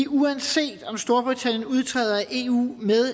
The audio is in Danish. uanset om storbritannien udtræder af eu med